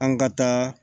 An ka taa